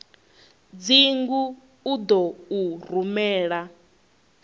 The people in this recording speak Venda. dzingu u ḓo u rumela